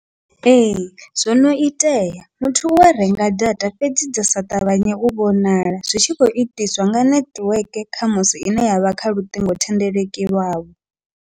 Ee, zwono itea muthu ua renga data fhedzi dza sa ṱavhanye u vhonala, zwi tshi khou itiswa nga nethiweke khamusi ine yavha kha luṱingothendeleki lwawe.